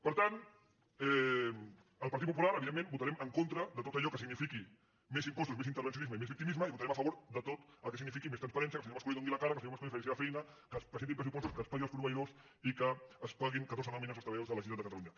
per tant el partit popular evidentment votarem en contra de tot allò que signifiqui més impostos més in·tervencionisme i més victimisme i votarem a favor de tot el que signifiqui més transparència que el senyor mas·colell doni la cara que el senyor mas·colell faci la seva feina que es presentin pressupostos que es pa·gui als proveïdors i que es paguin catorze nòmines als treballadors de la generalitat de catalunya